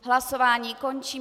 Hlasování končím.